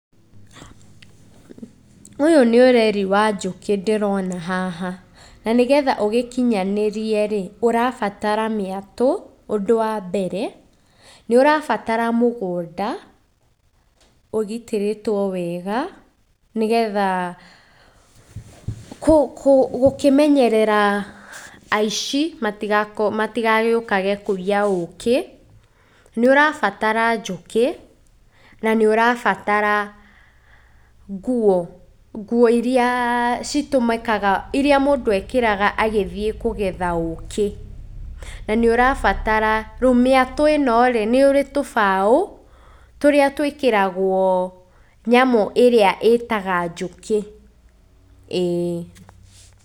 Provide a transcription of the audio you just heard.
Ũyũ nĩ ũreri wa njũkĩ ndĩrona haha na nĩgetha ũgĩkinyanĩrie rĩ, ũrabatara mĩatũ ũndũ wa mbere, nĩ ũrabatara mũgũnda ũgitĩrĩtwo wega nĩgetha gũkĩmenyerera aici matigagĩũkage kũiya ũkĩ, nĩ ũrabatara njũkĩ na nĩ ũrabatara nguo, nguo iria citũmĩkaga, iria mũndũ ekĩraga agĩthiĩ kũgetha ũkĩ. Na nĩ ũrabatara, rĩu mĩatũ ĩno rĩ, nĩ ũrĩ tũbaũ tũrĩa tũĩkĩragwo nyamũ ĩrĩa ĩtaga njũkĩ, ĩĩ.